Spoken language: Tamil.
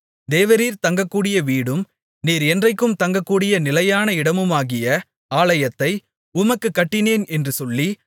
தேவரீர் தங்கக்கூடிய வீடும் நீர் என்றைக்கும் தங்ககூடிய நிலையான இடமுமாகிய ஆலயத்தை உமக்குக் கட்டினேன் என்றும் சொல்லி